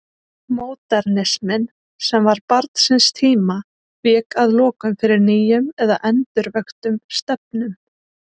Módernisminn, sem var barn síns tíma, vék að lokum fyrir nýjum eða endurvöktum stefnum.